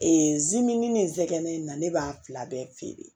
zimini ni nsɛgɛn na ne b'a fila bɛɛ feere